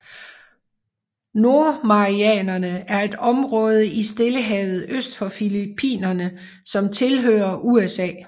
Nordmarianerne er et område i Stillehavet øst for Filippinerne som tilhører USA